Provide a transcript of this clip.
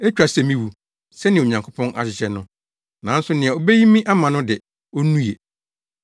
Etwa sɛ miwu, sɛnea Onyankopɔn ahyehyɛ no, nanso nea obeyi me ama no de, onnue.”